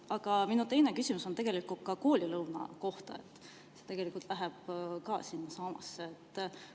Aga minu teine küsimus on koolilõuna kohta, see tegelikult läheb ka sinnasamasse.